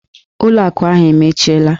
ụlọ akụ ahụ emechiela!